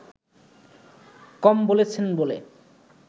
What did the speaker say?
কম বলছেন বলে